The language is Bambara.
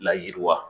Layiriwa